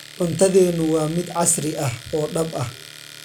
Cuntadeenu waa mid casri ah oo dhab ah.